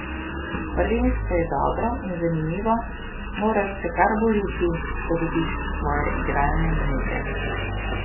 Prvenstvo je dobro in zanimivo, moraš se kar boriti, da dobiš svoje igralne minute.